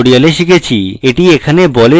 এটি এখানে বলে যে আমাদের কাছে অ্যারে রয়েছে